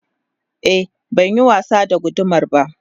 E, ban yin wasa da gudamar ba.